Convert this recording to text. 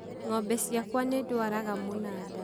Ng'ombe ciakwa nĩ dwaraga mũnada